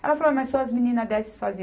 Ela falou, mas suas meninas descem sozinhas.